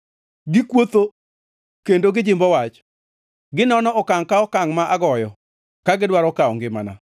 Gikuotho kendo gijimbo wach, ginono okangʼ ka okangʼ ma agoyo, ka gidwaro kawo ngimana.